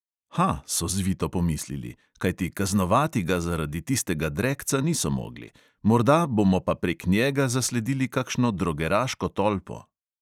Ha, so zvito pomislili, kajti kaznovati ga zaradi tistega drekca niso mogli, morda bomo pa prek njega zasledili kakšno drogeraško tolpo.